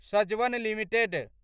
Sajwan limited